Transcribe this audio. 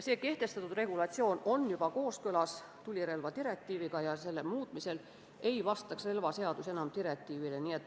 See kehtestatud regulatsioon on tulirelvadirektiiviga juba kooskõlas ja selle muutmisel ei vastaks relvaseadus enam direktiivile.